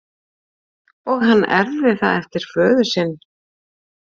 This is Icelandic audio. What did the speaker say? Og hann erfði það eftir föður sinn.